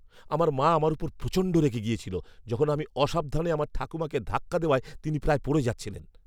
আমার মা আমার উপর প্রচণ্ড রেগে গেছিল যখন আমি অসাবধানে আমার ঠাকুমাকে ধাক্কা দেওয়ায় তিনি প্রায় পড়ে যাচ্ছিলেন।